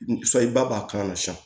Sayi ba b'a k'a la sisan